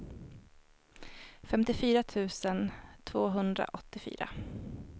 femtiofyra tusen tvåhundraåttiofyra